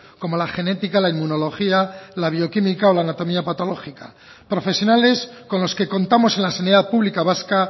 como la genética la inmunología la bioquímica o la anatomía patológica profesionales con los que contamos en la sanidad pública vasca